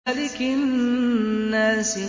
مَلِكِ النَّاسِ